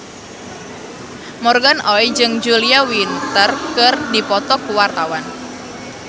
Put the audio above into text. Morgan Oey jeung Julia Winter keur dipoto ku wartawan